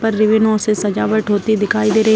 पर रिबनो से सजावट होती दिखाई दे रही --